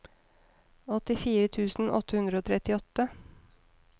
åttifire tusen åtte hundre og trettiåtte